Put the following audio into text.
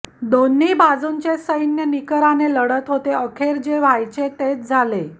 दोन्ही बाजूंचे सैन्य निकराने लढत होते अखेर जे व्हायचे तेच झाले